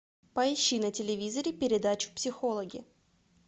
поищи на телевизоре передачу психологи